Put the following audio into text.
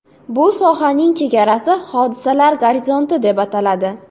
Bu sohaning chegarasi hodisalar gorizonti deb ataladi.